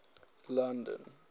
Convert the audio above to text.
london